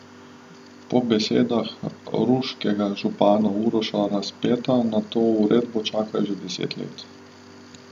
Po besedah ruškega župana Uroša Razpeta na to uredbo čakajo že deset let.